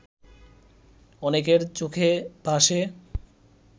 অনেকের চোখে ভাসে